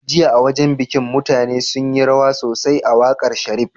Jiya a wajan biki mutane sunyi rawa sosai a waƙar sharif